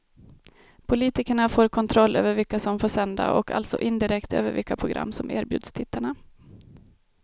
Politikerna får kontroll över vilka som får sända och alltså indirekt över vilka program som erbjuds tittarna.